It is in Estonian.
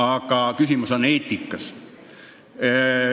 Aga küsimus on eetikas.